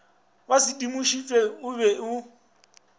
ba sedimošitšwe o be o